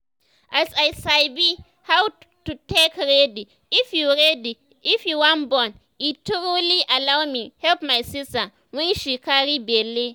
as i sabi how to take ready if you ready if you wan born e truly allow me help my sister wen she carry belle